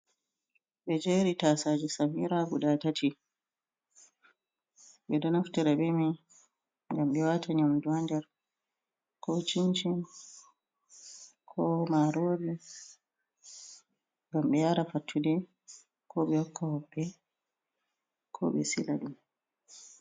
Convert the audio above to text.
Ɓe jeri tasaje samira guda tati. Ɓeɗo naftira be mai ngam ɓe wata nyamdu ha nder, ko cincin, ko marori ngam ɓe yara fattude, ko ɓe hokka hoɓɓe, ko ɓe sila.